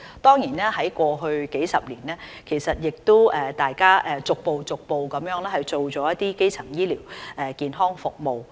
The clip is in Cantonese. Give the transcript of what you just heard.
在過去數十年，大家逐步做了基層醫療健康服務。